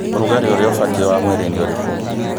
Ũrugarĩ ũrĩa ũbatiĩ wa mwĩrĩ nĩ ũrĩkũ?